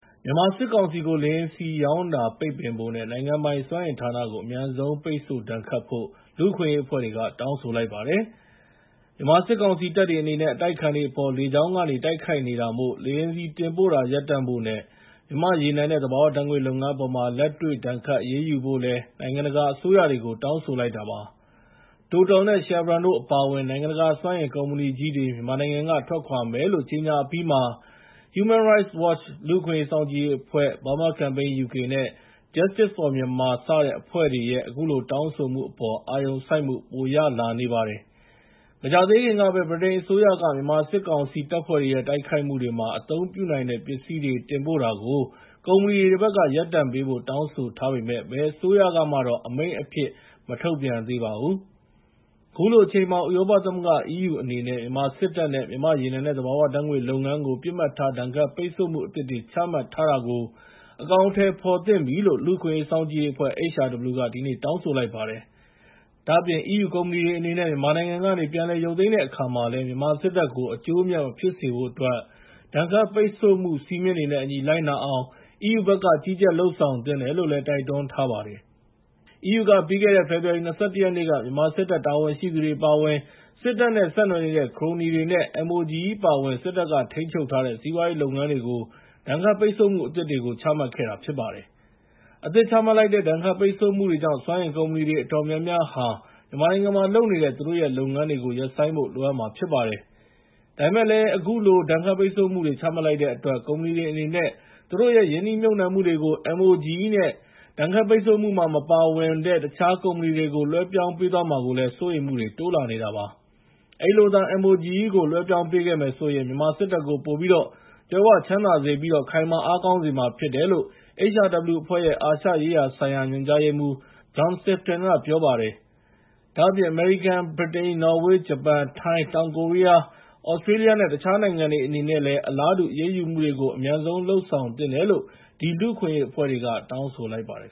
မြန်မာစစ်ကောင်စီကို လေယာဉ်ဆီရောင်းတာ ပိတ်ပင်ဖို့နဲ့ နိုင်ငံပိုင်စွမ်းအင်ဌာနကို အမြန်ဆုံးပိတ်ဆို့ဒဏ်ခတ်ဖို့ လူ့အခွင့်အရေးအဖွဲ့တွေက တောင်းဆိုလိုက်ပါတယ်။ မြန်မာစစ်ကောင်စီတပ်တွေအနေနဲ့ အတိုက်အခံတွေအပေါ် လေကြောင်းက တိုက် ခိုက်နေတာမို့ လေယာဉ်ဆီတင်ပို့တာ ရပ်တန့်ဖို့နဲ့ မြန်မာ့ ရေနံနဲ့သဘာဝဓာတ်ငွေ့ လုပ်ငန်းအပေါ် လက်တွေ့ ဒဏ်ခတ်အရေးယူဖို့လည်း နိုင်ငံတကာအစိုးရတွေကို တောင်းဆိုလိုက်တာပါ။ TOTAL နဲ့ Chevron တို့အပါအဝင် နိုင်ငံတကာစွမ်းအင်ကုမ္ပဏီကြီးတွေ မြန်မာနိုင် ငံက ထွက်ခွာမယ်လို့ ကြေညာအပြီးမှာ Human Rights Watch လူ့အခွင့်အရေးစောင့်ကြည့်ရေးအဖွဲ့၊ Burma Campaign UK နဲ့ Justice for Myanmar စတဲ့ အဖွဲ့တွေရဲ့ အခုလို တောင်းဆိုမှုအပေါ် အာရုံစိုက်မှုပိုရလာနေပါတယ်။ မကြာသေးခင်ကပဲ ဗြိတိန်အစိုးရက မြန်မာစစ်ကောင်စီတပ်ဖွဲ့တွေရဲ့တိုက်ခိုက်မှု တွေမှာ အသုံးပြုနိုင်တဲ့ပစ္စည်းတွေ တင်ပို့တာကို ကုမ္ပဏီတွေဘက်က ရပ်တန့်ပေးဖို့ တောင်းဆိုထားပေမယ့် ဘယ်အစိုးရကမှတော့ အမိန့်အဖြစ် မထုတ်ပြန်သေးပါဘူး။ ခုလိုအချိန်မှာ ဥရောပသမဂ္ဂ (EU) အနေနဲ့ မြန်မာစစ်တပ်နဲ့ မြန်မာ့ရေနံနဲ့သဘာဝဓါတ်ငွေ့လုပ်ငန်းကို ပစ်မှတ်ထား ဒဏ်ခတ်ပိတ်ဆို့မှုအသစ်တွေ ချမှတ်ထားတာကို အကောင်အထည်ဖော်သင့်ပြီလို့ လူ့အခွင့်အရေးစောင့်ကြည့်ရေးအဖွဲ့ HRW က ဒီနေ့ တောင်းဆိုလိုက်ပါတယ်။ ဒါ့အပြင် EU ကုမ္ပဏီတွေအနေနဲ့ မြန်မာနိုင်ငံကနေ ပြန်လည်ရုပ်သိမ်းတဲ့အခါမှာလည်း မြန်မာစစ်တပ်ကို အကျိုးအမြတ် မဖြစ်စေဖို့ ဒဏ်ခတ်ပိတ်ဆို့မှု စည်းမျဉ်းတွေနဲ့ အညီ လိုက်နာအောင် EU ဘက်က ကြီးကြပ်လုပ်ဆောင်သင့်တယ်လို့လည်း တိုက် တွန်းထားပါတယ်။ EU က ပြီးခဲ့တဲ့ ဖေဖော်ဝါရီ ၂၁ ရက်နေ့က မြန်မာစစ်တပ်တာဝန်ရှိသူတွေအပါအဝင် စစ်တပ်နဲ့ဆက်နွယ်နေတဲ့ ခရိုနီတွေ နဲ့ MOGE အပါအဝင် စစ်တပ်ကထိန်းချုပ် ထားတဲ့ စီးပွားရေးလုပ်ငန်းတွေကို ဒဏ်ခတ်ပိတ်ဆို့မှုအသစ်တွေကို ချမှတ်ခဲ့တာဖြစ်ပါတယ်။ အသစ်ချမှတ်လိုက်တဲ့ ဒဏ်ခတ်ပိတ်ဆို့မှုတွေကြောင့် စွမ်းအင်ကုမ္ပဏီ အတော်များများဟာ မြန်မာနိုင်ငံမှာလုပ်နေတဲ့ သူတို့ရဲ့လုပ်ငန်းတွေကို ရပ်ဆိုင်းဖို့ လိုအပ်မှာဖြစ်ပါတယ်။ ဒါပေမယ့်လည်း အခုလို ဒဏ်ခတ်ပိတ်ဆို့မှုတွေ ချမှတ်လိုက်တဲ့အတွက် ကုမ္ပဏီတွေအနေနဲ့ သူတို့ရဲ့ ရင်းနှီးမြှုပ်နှံမှုတွေကို MOGE နဲ့ ဒဏ်ခတ်ပိတ်ဆို့မှုမှာမပါဝင်တဲ့ တခြား ကုမ္ပဏီတွေကို လွှဲပြောင်းပေးသွားမှာကိုလည်း စိုးရိမ်မှုတွေ တိုးလာနေပါတယ်။ အဲဒီလိုသာ MOGE ကို လွှဲပြောင်းပေးခဲ့မယ်ဆိုရင် မြန်မာစစ်တပ်ကို ပိုပြီးတော့ ကြွယ်ဝချမ်းသာစေပြီး ခိုင်မာ အားကောင်းစေမှာ ဖြစ်တယ်လို့ HRW အဖွဲ့ရဲ့ အာရှရေးရာဆိုင်ရာ ညွှန်ကြားရေးမှူး John Sifton က ပြောပါတယ်။ ဒါ့အပြင် အမေရိကန်၊ ဗြိတိန်၊ နော်ဝေး၊ ဂျပန်၊ ထိုင်း၊ တောင်ကိုရီးယား၊ သြစတြေးလျနဲ့ တခြားနိုင်ငံတွေအနေနဲ့ အလားတူ အရေးယူမှုတွေကို အမြန်ဆုံးလုပ်ဆောင်သင့်တယ်လို့ ဒီ လူ့အခွင့်အရေးအဖွဲ့တွေက တောင်းဆိုလိုက်ပါတယ်